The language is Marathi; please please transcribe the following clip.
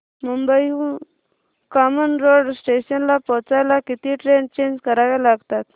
मुंबई हून कामन रोड स्टेशनला पोहचायला किती ट्रेन चेंज कराव्या लागतात